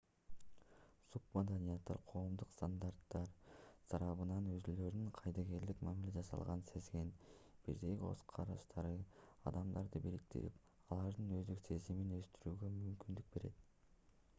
субмаданияттар коомдук стандарттар тарабынан өзүлөрүнө кайдыгерлик мамиле жасалганын сезген бирдей көз караштагы адамдарды бириктирип алардын өздүк сезимин өстүрүүгө мүмкүндүк берет